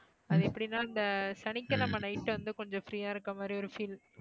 அதெப்படி தான் அந்த சனிக்கிழமை night வந்து கொஞ்சம் free யா இருக்கறா மாதிரி ஒரு feel